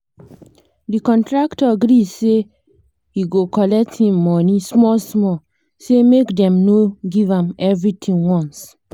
the contractor gree say he go collect him money small small say make dem no give am everythin once